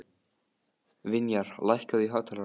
Vinjar, lækkaðu í hátalaranum.